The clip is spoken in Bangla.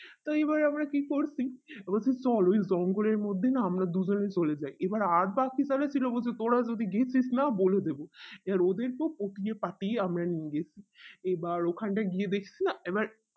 তো এবার আমরা কি করছি এ রকম চল ওই জঙ্গলের মধ্যে না আমরা দুজনে চলে যাই এবার আর বাকি যাদের ছিল তা যদি গিয়েছিস না বলে দেবে এবার ওদেরকেও পটিয়ে পাতিয়ে আমরা নিয়ে গেছি এবার ওকানটাই গিয়ে দেখছি এবার